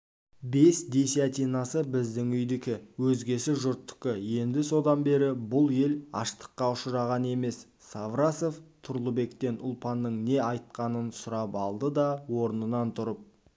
бес десятинасы біздің үйдікі өзгесі жұрттыкі еді содан бері бұл ел аштыққа ұшыраған емес саврасов тұрлыбектен ұлпанның не айт қанын сұрап алды да орнынан тұрып